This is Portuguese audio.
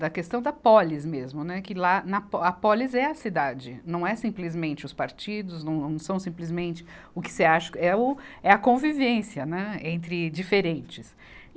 da questão da pólis mesmo, né, que lá na pó, a pólis é a cidade, não é simplesmente os partidos, não, não são simplesmente o que você acha, é o, é a convivência, né entre diferentes.